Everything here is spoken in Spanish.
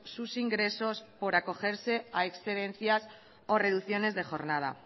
sus ingresos por acogerse a excedencias o reducciones de jornada